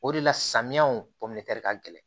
O de la samiyaw ka gɛlɛn